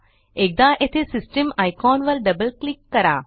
एकदा येथे system icon वर डबल क्लिक करा